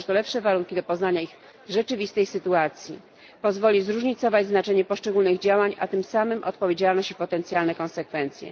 Stworzy to lepsze warunki do poznania ich rzeczywistej sytuacji, pozwoli zróżnicować znaczenie poszczególnych działań, a tym samym odpowiedzialność i potencjalne konsekwencje.